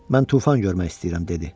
Mən tufan görmək istəyirəm, dedi.